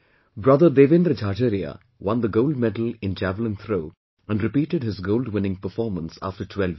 Brother Devendra Jhajharia won the gold medal in Javelin throw and repeated his gold winning performance after 12 years